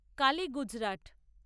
কালী-গুজরাট